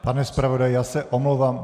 Pane zpravodaji, já se omlouvám.